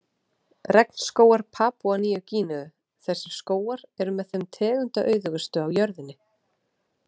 Regnskógar Papúa Nýju-Gíneu Þessir skógar eru með þeim tegundaauðugustu á jörðinni.